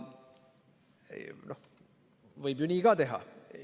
Võib ju nii ka teha.